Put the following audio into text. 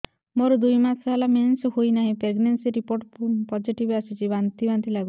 ମୋର ଦୁଇ ମାସ ହେଲା ମେନ୍ସେସ ହୋଇନାହିଁ ପ୍ରେଗନେନସି ରିପୋର୍ଟ ପୋସିଟିଭ ଆସିଛି ବାନ୍ତି ବାନ୍ତି ଲଗୁଛି